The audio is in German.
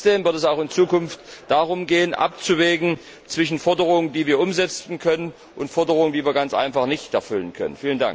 Und trotzdem wird es auch in Zukunft darum gehen, abzuwägen zwischen Forderungen, die wir umsetzen können, und Forderungen, die wir ganz einfach nicht erfüllen können.